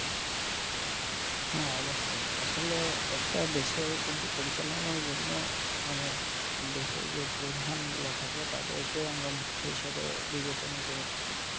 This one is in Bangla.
হ্যাঁ অবশ্যই আসলে একটা দেশের কিন্তু পরিচালনার জন্য মানে দেশের যে প্রধান গুলো থাকে তাদেরকে আমরা মুখ্য হিসাবে বিবেচনা করে থাকি,